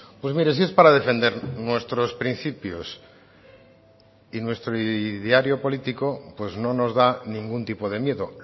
pues mire si es para defender nuestros principios y nuestro ideario político pues no nos da ningún tipo de miedo